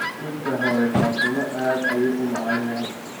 Buskutka hoyo fatuma aad ayuu uu macanyahay